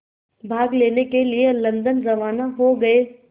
भाग लेने के लिए लंदन रवाना हो गए